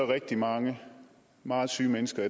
rigtig mange meget syge mennesker